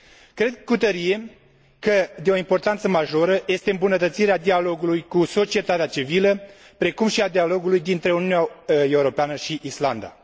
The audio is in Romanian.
Cred cu tărie că de o importanță majoră este îmbunătățirea dialogului cu societatea civilă, precum și a dialogului dintre Uniunea Europeană și Islanda.